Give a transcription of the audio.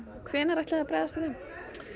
hvenær ætliði að bregðast við þeim